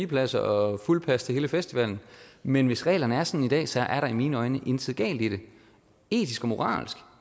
pladser og fuldpas til hele festivalen men hvis reglerne er sådan i dag så er der i mine øjne intet galt i det etisk og moralsk